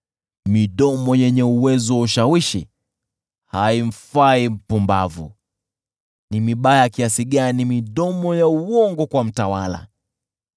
Midomo yenye uwezo wa ushawishi haimfai mpumbavu: je, ni mibaya kiasi gani zaidi midomo ya uongo kwa mtawala!